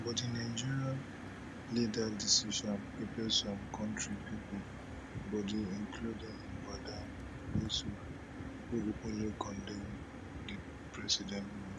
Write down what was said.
but di nigerian leader decision pepper some kontri pipo body including madam yesuf wey openly condemn di president